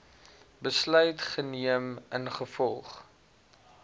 besluit geneem ingevolge